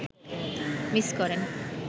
miss করেন